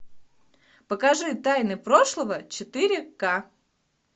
покажи тайны прошлого четыре к